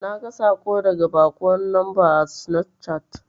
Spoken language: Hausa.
Naga saƙo daga baƙuwar lamba a sinafcat.